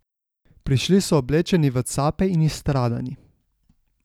Prišli so oblečeni v cape in izstradani.